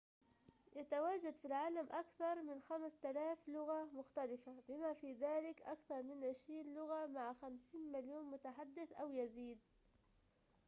يتواجد في العالم أكثر من 5000 لغة مختلفة بما في ذلك أكثر من عشرين لغة مع 50 مليون متحدث أو يزيد